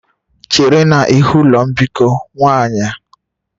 Chere n'ihu ụlọ mbikọ nwanyị!.